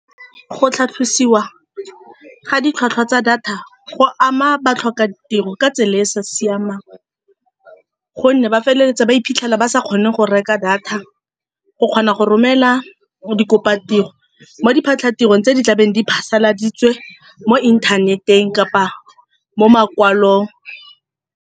Go tlhatlhosiwa ga ditlhwatlhwa tsa data go ama ba tlhoka tiro ka tsela e e sa siamang, ka gonne ba feleletsa ba iphitlhela ba sa kgone go reka data. Go kgona go romela dikopa tiro mo diphatla tiro tse di tlabeng di phasaladitswe mo inthaneteng kapa mo makwalong.